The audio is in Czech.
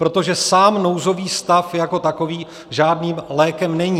Protože sám nouzový stav jako takový žádným lékem není.